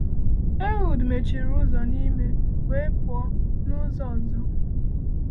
Ehud mechiri ụzọ n’ime, wee pụọ n’ụzọ ọzọ?